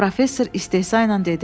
Professor istehza ilə dedi.